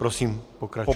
Prosím, pokračujte.